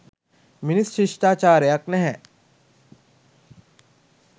මිනිස් ශිෂ්ටාචාරයක් නැහැ